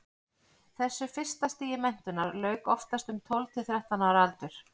þessu fyrsta stigi menntunarinnar lauk oftast um tólf til þrettán ára aldur